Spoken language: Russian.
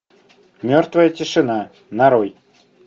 мертвая тишина нарой